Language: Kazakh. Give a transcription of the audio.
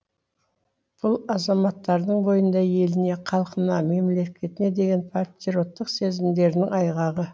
бұл азаматтардың бойында еліне халқына мемлекетіне деген патриоттық сезімдерінің айғағы